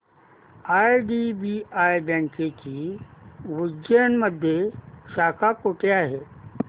IDBI बँकेची उज्जैन मध्ये शाखा कुठे आहे